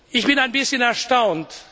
Ich bin ein bisschen erstaunt.